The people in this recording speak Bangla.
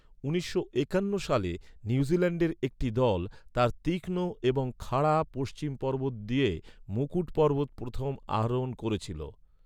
উনিশশো একান্ন সালে নিউজিল্যান্ডের একটি দল তার তীক্ষ্ণ এবং খাড়া পশ্চিম পর্বত দিয়ে মুকুট পর্বত প্রথম আরোহণ করেছিল।